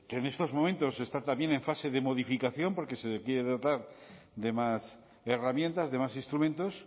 que en estos momentos está también en fase de modificación porque se le quiere dotar de más herramientas de más instrumentos